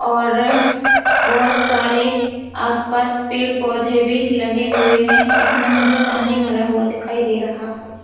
और इस बहोत सारे आसपास पेड़ पौधे भी लगे हुए है इसमे मुझे पानी भरा हुआ दिखाई दे रहा है।